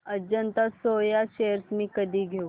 Ajanta Soya shares मी कधी घेऊ